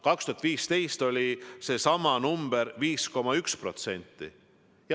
2015. aastal oli seesama number 5,1%.